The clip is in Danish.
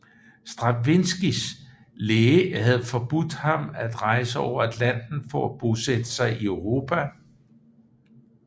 Stravinskijs læge havde forbudt ham at rejse over Atlanten for at bosætte sig i Europa